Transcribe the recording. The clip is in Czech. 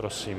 Prosím.